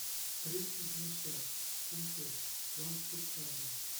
тридцать седьмая часть сезон пять клан сопрано